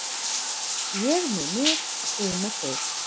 Ég með mig, þú með þig.